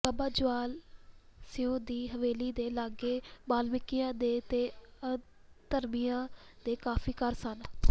ਬਾਬਾ ਜ਼ਵਾਲਾ ਸਿਓਂ ਦੀ ਹਵੇਲੀ ਦੇ ਲਾਗੇ ਬਾਲਮੀਕੀਆਂ ਦੇ ਤੇ ਆਧਰਮੀਆਂ ਦੇ ਕਾਫੀ ਘਰ ਸਨ